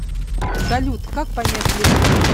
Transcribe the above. салют как понять любовь